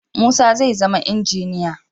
Musa zai zama injiniya.